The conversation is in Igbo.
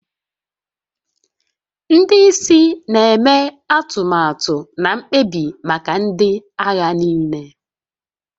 Ndị isi na-eme atụmatụ na mkpebi maka ndị agha niile